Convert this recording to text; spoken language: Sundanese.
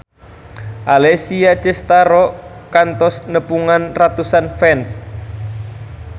Alessia Cestaro kantos nepungan ratusan fans